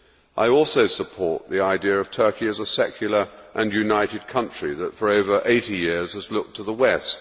I also support the idea of Turkey as a secular and united country that, for over 80 years, has looked to the West.